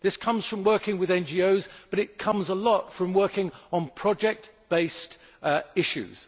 This comes from working with NGOs, but it comes a lot from working on project based issues.